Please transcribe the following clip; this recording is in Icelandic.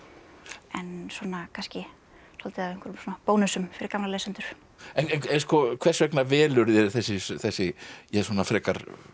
en svona kannski svolítið af einhverjum bónusum fyrir gamla lesendur hvers vegna velurðu þér þessi þessi frekar